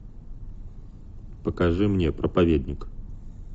покажи мне проповедник